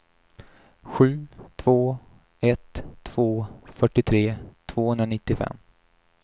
sju två ett två fyrtiotre tvåhundranittiofem